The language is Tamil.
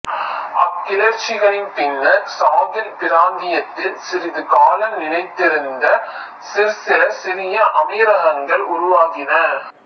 அக்கிளர்ச்சிகளின் பின்னர் சாகில் பிராந்தியத்தில் சிறிது காலம் நிலைத்திருந்த சிற்சில சிறிய அமீரகங்கள் உருவாகின